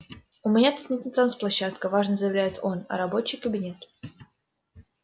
у меня тут не танцплощадка важно заявляет он а рабочий кабинет